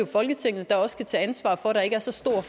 folketinget der skal tage ansvar for at der ikke er så store